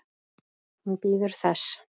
Hún bíður þess.